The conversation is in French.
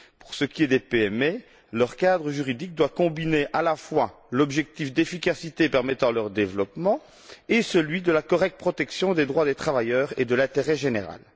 Pour ce qui est des PME, leur cadre juridique doit combiner à la fois l'objectif d'efficacité permettant leur développement et celui d'une protection adéquate des droits des travailleurs et de l'intérêt général.